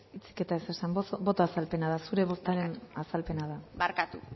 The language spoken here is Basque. hitzik eta ez esan boto azalpena da zure bozketaren azalpena da barkatu